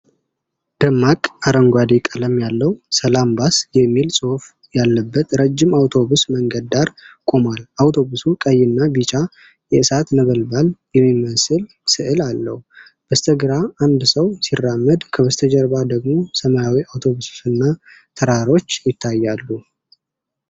ደማቅ አረንጓዴ ቀለም ያለው "ሰላም ባስ" የሚል ጽሑፍ ያለበት ረጅም አውቶቡስ መንገድ ዳር ቆሞል። አውቶቡሱ ቀይና ቢጫ የእሳት ነበልባል የሚመስል ስዕል አለው። በስተግራ አንድ ሰው ሲራመድ፣ ከበስተጀርባ ደግሞ ሰማያዊ አውቶቡስና ተራሮች ይታያሉ።